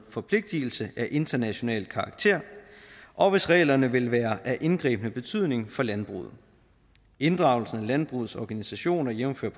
forpligtelse af international karakter og hvis reglerne vil være af indgribende betydning for landbruget inddragelsen af landbrugets organisationer jævnfør